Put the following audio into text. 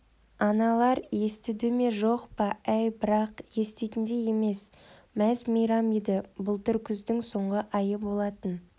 аналар естіді ме жоқ па әй бірақ еститіндей емес мәз-мейрам еді былтыр күздің соңғы айы болатын